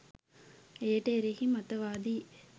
එයට එරෙහි මතවාදී